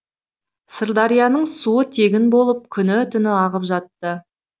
сырдарияның суы тегін болып күні түні ағып жатты